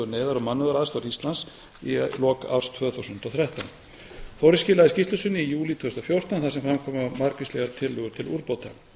og mannúðaraðstoðar íslands í lok árs tvö þúsund og þrettán þórir skilaði skýrslu sinni í júlí tvö þúsund og fjórtán þar sem fram komu margvíslegar tillögur til úrbóta